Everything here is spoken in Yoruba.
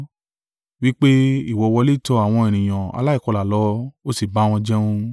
wí pé, “Ìwọ wọlé tọ àwọn ènìyàn aláìkọlà lọ, ó sì bá wọn jẹun.”